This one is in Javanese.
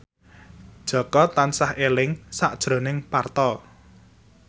Jaka tansah eling sakjroning Parto